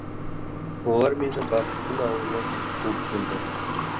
олар мені бақыттың ауылына дейін қуып келді